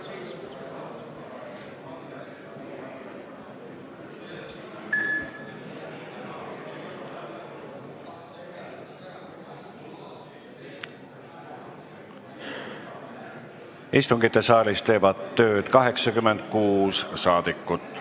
Kohaloleku kontroll Istungisaalis teeb tööd 86 saadikut.